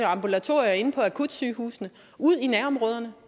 ambulatorier og inde på akutsygehusene ud i nærområderne